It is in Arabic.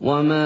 وَمَا